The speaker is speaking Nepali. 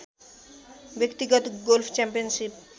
व्यक्तिगत गोल्फ च्याम्पियनसिप